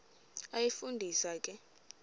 iyafu ndisa ke